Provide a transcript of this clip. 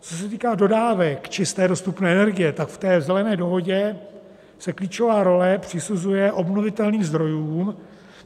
Co se týká dodávek čisté dostupné energie, tak v té Zelené dohodě se klíčová role přisuzuje obnovitelným zdrojům,